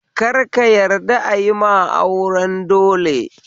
Kar ka yadda ayima auren dole